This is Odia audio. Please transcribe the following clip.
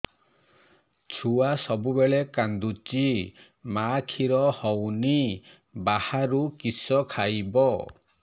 ଛୁଆ ସବୁବେଳେ କାନ୍ଦୁଚି ମା ଖିର ହଉନି ବାହାରୁ କିଷ ଖାଇବ